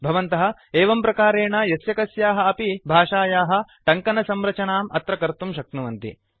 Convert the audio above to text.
भवन्तः एवं प्रकारेण यस्यकस्याः अपि भाषायाः टङ्कनसंरचनाम् अत्र कर्तुं शक्नुवन्ति